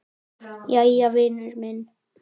Jæja, vinur minn.